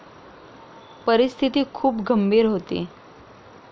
परिस्थिती खूप गंभीर होती.